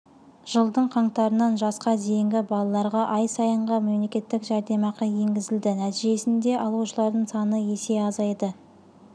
жылдың қаңтарынан жасқа дейінгі балаларға ай сайынғы мемлекеттік жәрдемақы енгізілді нәтижесінде алушылардың саны есе азайды